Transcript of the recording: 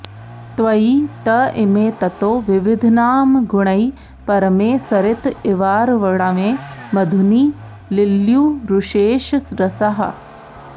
त्वयि त इमे ततो विविधनामगुणैः परमे सरित इवार्णवे मधुनि लिल्युरुशेषरसाः